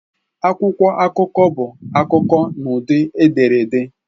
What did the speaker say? Akwụkwọ akụkọ bụ akụkọ n'ụdị ederede.